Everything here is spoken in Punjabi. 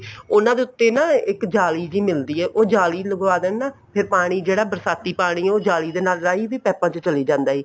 ਉਹਨਾ ਦੇ ਉੱਤੇ ਨਾ ਇੱਕ ਜਾਲੀ ਜੀ ਮਿਲਦੀ ਹੈ ਉਹ ਜਾਲੀ ਲਗਵਾ ਦੇਣ ਨਾ ਤੇ ਪਾਣੀ ਜਿਹੜਾ ਬਰਸਾਤੀ ਪਾਣੀ ਉਹ ਜਾਲੀ ਦੇ ਨਾਲ ਰਾਹੀਂ ਵੀ ਪੇਪਾ ਚੋਂ ਚਲਾ ਜਾਂਦਾ ਹੈ